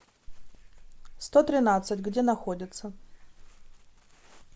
сто тринадцать где находится